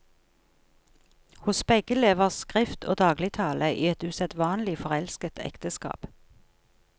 Hos begge lever skrift og dagligtale i et usedvanlig forelsket ekteskap.